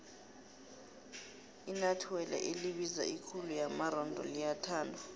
inuathelo elibiza ikhulu yamaronda liyathandwa